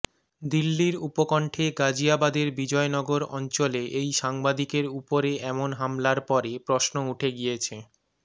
দিল্লির উপকণ্ঠে গাজ়িয়াবাদের বিজয়নগর অঞ্চলে এই সাংবাদিকের উপরে এমন হামলার পরে প্রশ্ন উঠে গিয়েছে